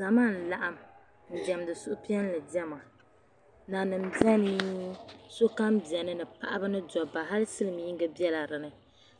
Zama n-laɣim n demdi suhu piɛli dema, nanim beni sokam ben ni paɣibni dɔbba hali silimiingi bela bini